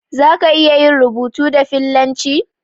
Zaka iya yin rubutu da fillanci?